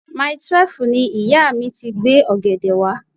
Mile twelve ni ìyá mi ti gbé ọ̀gẹ̀dẹ̀ wá.